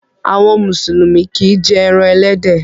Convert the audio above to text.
Àwọn Mùsùlùmí kìí jé èràn elédè